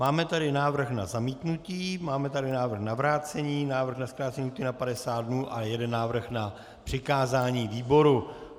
Máme tady návrh na zamítnutí, máme tady návrh na vrácení, návrh na zkrácení lhůty na 50 dnů a jeden návrh na přikázání výboru.